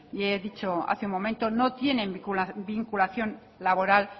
y he dicho hace un momento no tienen vinculación laboral